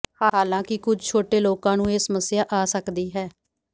ਹਾਲਾਂਕਿ ਕੁਝ ਛੋਟੇ ਲੋਕਾਂ ਨੂੰ ਇਹ ਸਮੱਸਿਆ ਆ ਸਕਦੀ ਹੈ